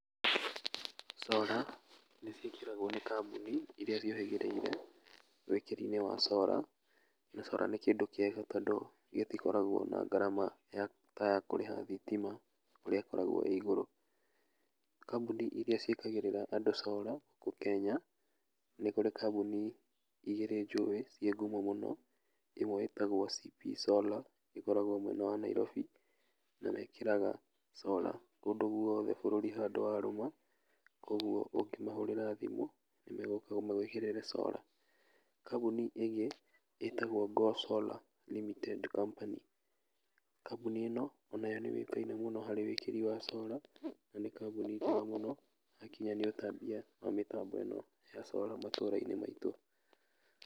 Solar, nĩciĩkĩragwo nĩ kambũni iria ciũhĩgĩrĩire wĩkĩri-inĩ wa solar, na solar nĩ kĩndũ kĩega tondũ gĩtikoragwo na ngarama ya, taya kũrĩha thitima ũrĩa ĩkoragwo ĩ igũrũ, kambũni iria ciĩkagĩrĩra andũ solar gũkũ kenya, nĩkũrĩ kambũni igĩrĩ njũĩ ciĩ ngumo mũno, ĩmwe ĩtagwo CP solar, ĩkoragwo mwena wa Nairobi, na mekĩraga solar kũndũ guothe bũrũri handũ warũma, koguo ũngĩmahũrĩra thimũ, nĩmegũka magwĩkĩrĩre solar, kambũni ĩngĩ ĩtagwo GONHOLLA limited company, kambũni ĩno, onayo nĩyũĩkaine mũno harĩ wĩkĩri wa solar, na nĩ kambũni njega mũno hakinya nĩ ũtambia wa mĩtambo ĩno ya solar matũra-inĩ maitũ.